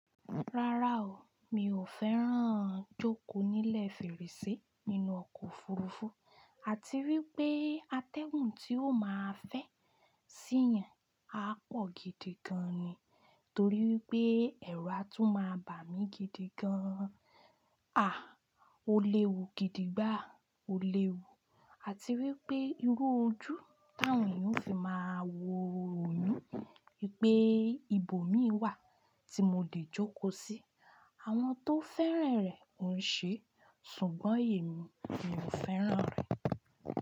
Rárá o, mi ò fẹ́ràn jóko nílẹ̀ fèrèsé nínú ọkọ̀ òfurufú àti wípé atẹ́gun tí ó máa fẹ́ sí yàn á pọ̀ gidi gan ni torí pé ẹ̀ru a tún máa bà mí gidi gan. À, ó léwu gidi gbàá, ó léwu àti wípé irú ojú ti awon eeyan ó fi máa wo yin, pé ibo mi wà tí mo lè jóko sí. Àwọn tó fẹ́ran rẹ̀ òún ṣé ṣùgbọ́n èmi, mi ò fẹ́ràn rẹ̀.